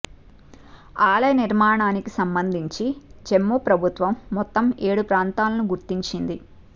ఆలయ నిర్మాణానికి సంబంధించి జమ్మూ ప్రభుత్వం మొత్తం ఏడు ప్రాంతాలను గుర్తించింది